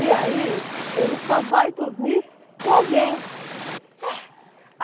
E aí ele só vai dormir com alguém. É?